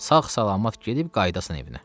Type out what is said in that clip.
Sağ-salamat gedib qayıdasan evinə.